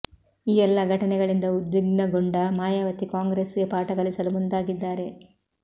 ಈ ಎಲ್ಲ ಘಟನೆಗಳಿಂದ ಉದ್ವಿಗ್ನಗೊಂಡ ಮಾಯಾವತಿ ಕಾಂಗ್ರೆಸ್ಗೆ ಪಾಠ ಕಲಿಸಲು ಮುಂದಾಗಿದ್ದಾರೆ